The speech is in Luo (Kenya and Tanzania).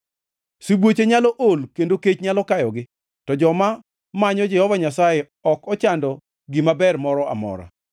Sibuoche nyalo ool kendo kech nyalo kayogi, to joma manyo Jehova Nyasaye ok ochando gima ber moro amora.